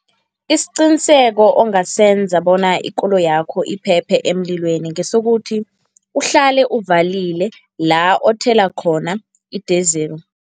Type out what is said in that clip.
Isiqiniseko ongasenza bona ikoloyakho iphephe emlilweni ngesokuthi, uhlale uvalile la othela khona i-diesel.